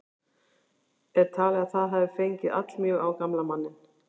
Er talið að það hafi fengið allmjög á gamla manninn.